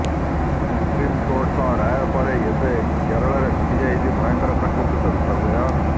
ସୁପ୍ରିମ୍କୋର୍ଟଙ୍କ ରାୟ ପରେ ଏବେ କେରଳରେ ଘଟିଯାଇଛି ଭୟଙ୍କର ପ୍ରାକୃତିକ ବିପର୍ଯ୍ୟୟ